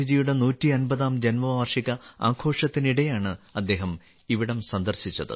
ഗാന്ധിജിയുടെ 150ാം ജന്മവാർഷിക ആഘോഷത്തിനിടെയാണ് അദ്ദേഹം ഇവിടം സന്ദർശിച്ചത്